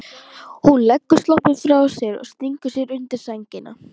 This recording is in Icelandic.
Hún leggur sloppinn frá sér og stingur sér undir sængina.